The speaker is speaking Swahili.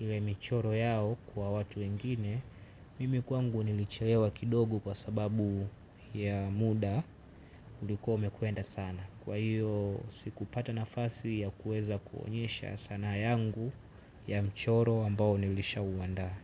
ile mchoro yao kwa watu wengine. Mimi kwangu nilichelewa kidogo kwa sababu ya muda ulikuwa umekwenda sana. Kwa hiyo sikupata nafasi ya kueza kuonyesha sanaa yangu ya mchoro ambao nilisha uandaa.